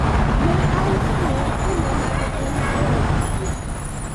ne ausone kinde mane en e od thieth